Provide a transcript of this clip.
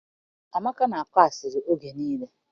Amaka na-akọ asịrị oge nille.